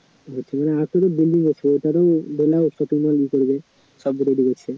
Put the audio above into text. আরো building হচ্ছে এটারও মনে হয় shopping mall ই করবে